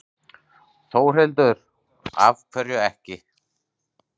Þórhildur: Af hverju ekki?